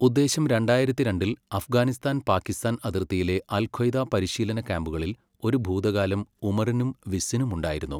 ഉദ്ദേശം രണ്ടായിരത്തി രണ്ടിൽ, അഫ്ഗാനിസ്ഥാൻ പാക്കിസ്ഥാൻ അതിർത്തിയിലെ അൽഖ്വയ്ദ പരിശീലന ക്യാമ്പുകളിൽ ഒരു ഭൂതകാലം ഉമറിനും വിസ്സിനും ഉണ്ടായിരുന്നു.